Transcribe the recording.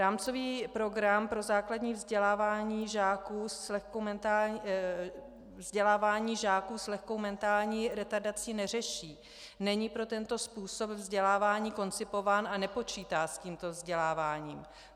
Rámcový program pro základní vzdělávání žáků s lehkou mentální retardací neřeší, není pro tento způsob vzdělávání koncipován a nepočítá s tímto vzděláváním.